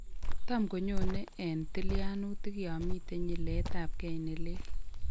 Tam konyone en tilyanutik yan miten nyiletabgei nelel